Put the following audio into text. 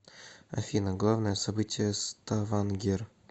афина главное событие ставангер